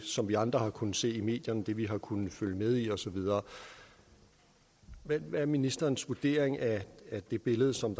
som vi andre har kunnet se i medierne den vi har kunnet følge med i og så videre hvad er ministerens vurdering af det billede som